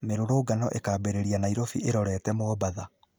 Mĩrũrũngano ĩkambĩrĩria Nairobi ĩrorete Mombatha